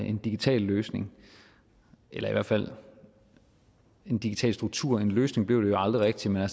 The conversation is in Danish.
en digital løsning eller i hvert fald en digital struktur for en løsning blev det jo aldrig rigtig men